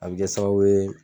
A bɛ kɛ sababu ye